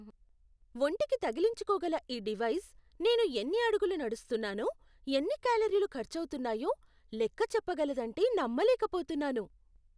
ఒంటికి తగిలించుకోగల ఈ డివైజ్ నేను ఎన్ని అడుగులు నడుస్తున్నానో, ఎన్ని కేలరీలు ఖర్చవుతున్నాయో లెక్క చెప్పగలదంటే నమ్మలేకపోతున్నాను.